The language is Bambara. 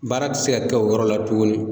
Baara ti se ka kɛ o yɔrɔ la tuguni.